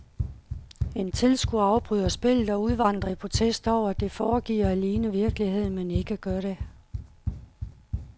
En tilskuer afbryder spillet og udvandrer i protest over, at det foregiver at ligne virkeligheden, men ikke gør det.